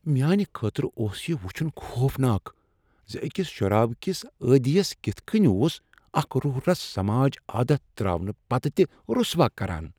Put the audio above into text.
میانہ خٲطرٕ اوس یہ وٗچھن خوفناک ز أکس شرابہ كِس عادِیس كِتھہٕ كٕنہِ اوس اكھ روح رُس سماج عادت تراونہٕ پتہٕ تہِ رٗسوا كران ۔